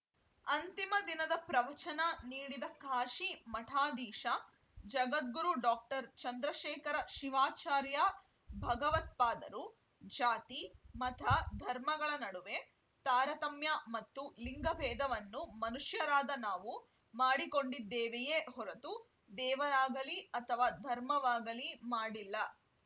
ಅಂತಿಮ ದಿನದ ಪ್ರವಚನ ನೀಡಿದ ಕಾಶಿ ಮಠಾಧೀಶ ಜಗದ್ಗುರು ಡಾಕ್ಟರ್ ಚಂದ್ರಶೇಖರ ಶಿವಾಚಾರ್ಯ ಭಗವತ್ಪಾದರು ಜಾತಿ ಮತ ಧರ್ಮಗಳ ನಡುವೆ ತಾರತಮ್ಯ ಮತ್ತು ಲಿಂಗಭೇದವನ್ನು ಮನುಷ್ಯರಾದ ನಾವು ಮಾಡಿಕೊಂಡಿದ್ದೇವೆಯೇ ಹೊರತು ದೇವರಾಗಲಿ ಅಥವಾ ಧರ್ಮವಾಗಲಿ ಮಾಡಿಲ್ಲ